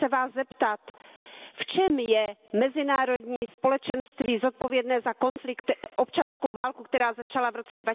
Chci se Vás zeptat V čem je mezinárodní společenství zodpovědné za občanskou válku, která začala v roce